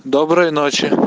доброй ночи